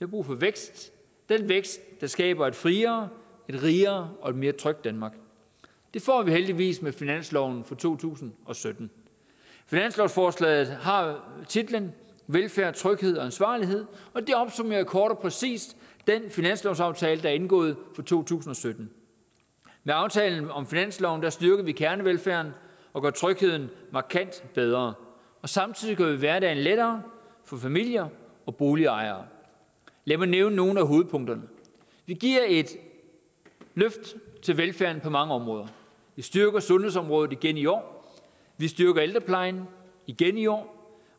brug for vækst den vækst der skaber et friere et rigere og et mere trygt danmark det får vi heldigvis med finansloven for to tusind og sytten finanslovsforslaget har titlen velfærd tryghed og ansvarlighed og det opsummerer kort og præcist den finanslovsaftale der er indgået for to tusind og sytten med aftalen om finansloven styrker vi kernevelfærden og gør trygheden markant bedre samtidig gør vi hverdagen lettere for familier og boligejere lad mig nævne nogle af hovedpunkterne vi giver et løft til velfærden på mange områder vi styrker sundhedsområdet igen i år vi styrker ældreplejen igen i år